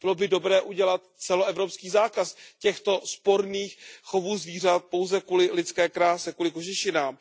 Bylo by dobré udělat celoevropský zákaz těchto sporných chovů zvířat pouze kvůli lidské kráse, kvůli kožešinám.